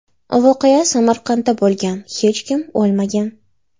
Voqea Samarqandda bo‘lgan, hech kim o‘lmagan.